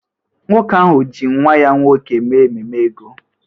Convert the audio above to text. Nwoke ahụ ọ ji nwa ya nwoke mee ememe ego?